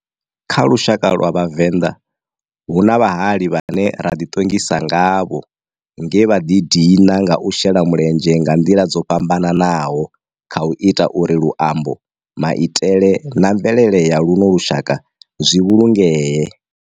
Kha lushaka lwa Vhavenda, hu na vhahali vhane ra di tongisa ngavho nge vha di dina nga u shela mulenzhe nga ndila dzo fhambananaho khau ita uri luambo, maitele na mvelele ya luno lushaka zwi vhulungee.